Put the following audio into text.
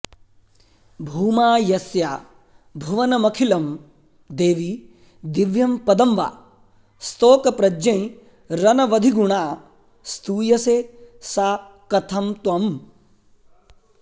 भूमा यस्या भुवनमखिलं देवि दिव्यं पदं वा स्तोकप्रज्ञैरनवधिगुणा स्तूयसे सा कथं त्वम्